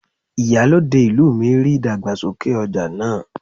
Ìyálòde ìlú mi ríi ìdàgbàsókè ọja náà.